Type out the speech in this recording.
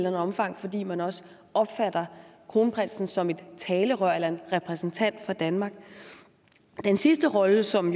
andet omfang fordi man også opfatter kronprinsen som et talerør eller en repræsentant for danmark den sidste rolle som